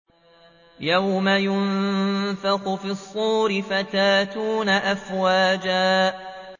يَوْمَ يُنفَخُ فِي الصُّورِ فَتَأْتُونَ أَفْوَاجًا